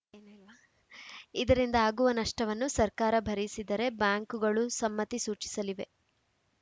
ಇದರಿಂದ ಆಗುವ ನಷ್ಟವನ್ನು ಸರ್ಕಾರ ಭರಿಸಿದರೆ ಬ್ಯಾಂಕುಗಳೂ ಸಮ್ಮತಿ ಸೂಚಿಸಲಿವೆ